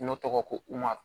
N'o tɔgɔ ko